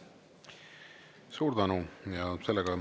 Suur tänu!